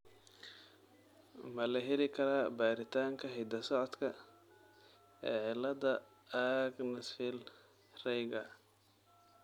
Ma la heli karaa baaritaanka hidda-socodka ee cilada Axenfeld Rieger ?